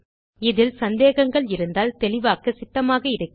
இதில் சந்தேகங்கள் இருந்தால் தெளிவாக்க சித்தமாக இருக்கிறேன்